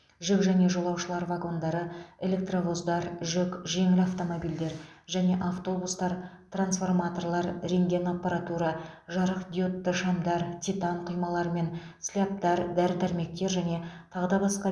жүк және жолаушылар вагондары электровоздар жүк жеңіл автомобильдер және автобустар трансформаторлар рентген аппаратура жарықдиодты шамдар титан құймалар мен слябтар дәрі дәрмектер және тағы да басқа